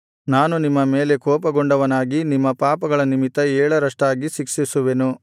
ನಾನು ನಿಮ್ಮ ಮೇಲೆ ಕೋಪಗೊಂಡವನಾಗಿ ನಿಮ್ಮ ಪಾಪಗಳ ನಿಮಿತ್ತ ಏಳರಷ್ಟಾಗಿ ಶಿಕ್ಷಿಸುವೆನು